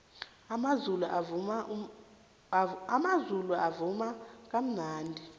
amazulu avuma kamnandi